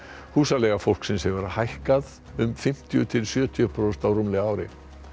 húsaleiga fólksins hefur hækkað um fimmtíu til sjötíu prósent á rúmlega ári